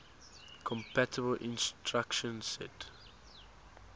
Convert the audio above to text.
compatible instruction set